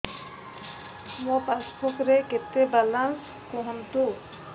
ମୋ ପାସବୁକ୍ ରେ କେତେ ବାଲାନ୍ସ କୁହନ୍ତୁ